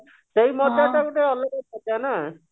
ସେଇ ମଜାଟା ଗୋଟେ ଆଲଗା ମଜା ନା